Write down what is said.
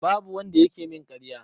Babu wanda yake min ƙarya.